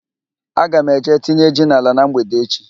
Aga m eje tinye ji n'ala na mgbede echi.